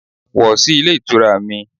Wọ̀ sí Ilé Ìtura mi